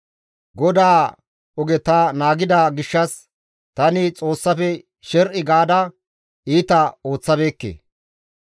GODAA oge ta naagida gishshas tani Xoossafe sher7i gaada iita ooththabeekke.